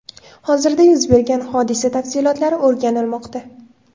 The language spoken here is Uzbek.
Hozirda yuz bergan hodisa tafsilotlari o‘rganilmoqda.